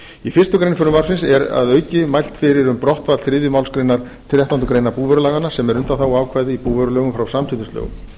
í fyrstu grein frumvarpsins er að auki mælt fyrir um brottfall þriðju málsgrein þrettándu greinar búvörulaganna sem er undanþáguákvæði í búvörulögum frá samkeppnislögum